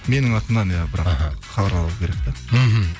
менің атымнан иә бірақ аха хабарлау керек те мхм